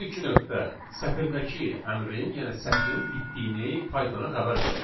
Bu iki nöqtə sətirdəki əmrin, yəni sətrin bitdiyini Pythona xəbər verir.